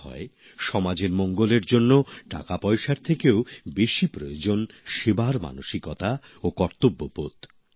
বলা হয় সমাজের মঙ্গলের জন্য টাকাপয়সার থেকেও বেশি প্রয়োজন সেবার মানসিকতা ও কর্তব্যবোধ